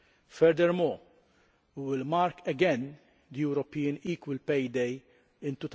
Furthermore, we will mark again European Equal Pay Day in